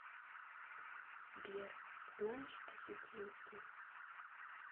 сбер знаешь осетинский